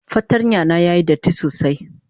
fartanya na yayi datti sosai.